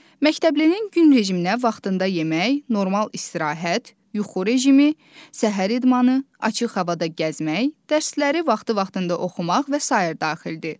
Məktəblinin gün rejiminə vaxtında yemək, normal istirahət, yuxu rejimi, səhər idmanı, açıq havada gəzmək, dərsləri vaxtı-vaxtında oxumaq və sair daxildir.